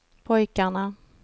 pojkarna